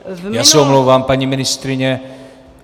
Já se omlouvám, paní ministryně.